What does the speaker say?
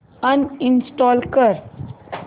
uninstall कर